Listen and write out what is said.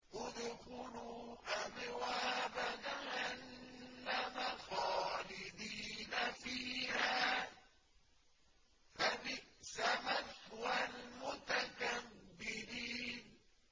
ادْخُلُوا أَبْوَابَ جَهَنَّمَ خَالِدِينَ فِيهَا ۖ فَبِئْسَ مَثْوَى الْمُتَكَبِّرِينَ